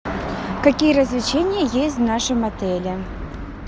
какие развлечения есть в нашем отеле